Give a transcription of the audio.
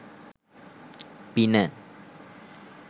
පින